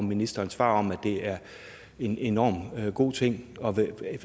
ministerens svar om at det er en enormt god ting